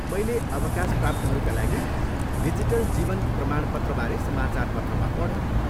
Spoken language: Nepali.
मैले अवकाशप्राप्तहरूका लागि डिजिटल जीवन प्रमाणपत्रबारे समाचारपत्रमा पढेँ।